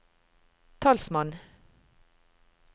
talsmann